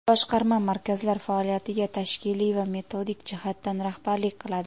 Boshqarma markazlar faoliyatiga tashkiliy va metodik jihatdan rahbarlik qiladi.